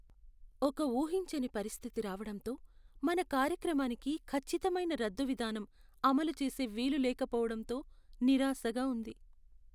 ఒక ఊహించని పరిస్థితి రావడంతో , మన కార్యక్రమానికి ఖచ్చితమైన రద్దు విధానం అమలు చేసే వీలు లేకపోవడంతో నిరాశగా ఉంది.